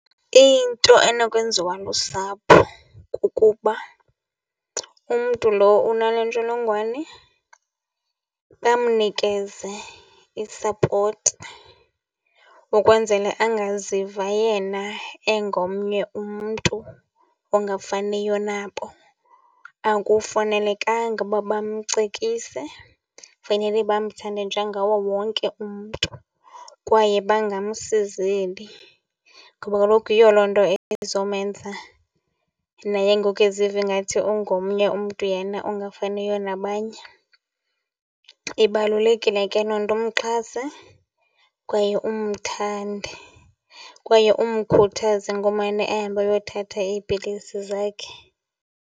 Into enokwenziwa lusapho kukuba umntu lo unale ntsholongwane bamnikeze isapoti ukwenzele angaziva yena engomnye umntu ongafaniyo nabo. Akufanelekanga uba bamcekise, fanele bamthande njengawo wonke umntu kwaye bangamsizeli ngoba kaloku yiyo loo nto ezomenza naye ngoku eziva ingathi ungomnye umntu yena ongafaniyo nabanye. Ibalulekile ke loo nto, umxhase kwaye umthande kwaye umkhuthaze ngomane ehamba eyothatha iipilisi zakhe.